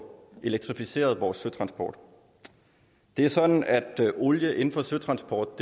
elektrificeret vores søtransport det er sådan at olie inden for søtransport